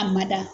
A ma da